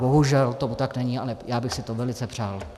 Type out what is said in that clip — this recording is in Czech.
Bohužel tomu tak není a já bych si to velice přál.